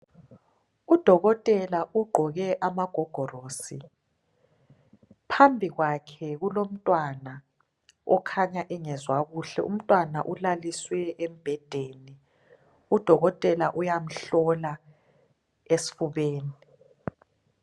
Udokotela ugqoke amagogorosi phambi kwakhe kulomntwana okhanya engezwa kuhle umntwana ulaliswe embhedeni udokotela uyamhlola esifubeni.